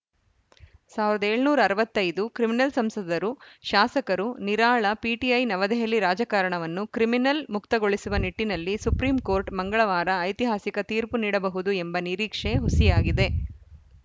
ಸಾವಿರದ ಏಳುನೂರ ಅರವತ್ತ್ ಐದು ಕ್ರಿಮಿನಲ್‌ ಸಂಸದರು ಶಾಸಕರು ನಿರಾಳ ಪಿಟಿಐ ನವದೆಹಲಿ ರಾಜಕಾರಣವನ್ನು ಕ್ರಿಮಿನಲ್‌ ಮುಕ್ತಗೊಳಿಸುವ ನಿಟ್ಟಿನಲ್ಲಿ ಸುಪ್ರೀಂಕೋರ್ಟ್‌ ಮಂಗಳವಾರ ಐತಿಹಾಸಿಕ ತೀರ್ಪು ನೀಡಬಹುದು ಎಂಬ ನಿರೀಕ್ಷೆ ಹುಸಿಯಾಗಿದೆ